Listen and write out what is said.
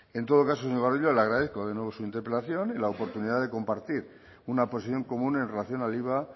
en todo caso señor gordillo le agradezco de nuevo su interpelación y la oportunidad de compartir una posición común en relación al iva